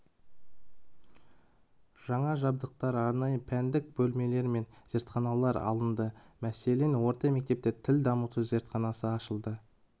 жаңа жабдықтар арнайы пәндік бөлмелер мен зертханалар алынды мәселен орта мектепте тіл дамыту зертханасы ашылды